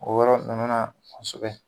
O yɔrɔ nunnu na kosobɛ.